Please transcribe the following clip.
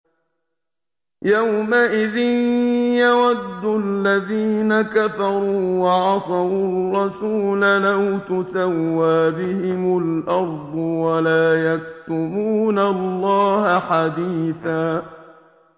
يَوْمَئِذٍ يَوَدُّ الَّذِينَ كَفَرُوا وَعَصَوُا الرَّسُولَ لَوْ تُسَوَّىٰ بِهِمُ الْأَرْضُ وَلَا يَكْتُمُونَ اللَّهَ حَدِيثًا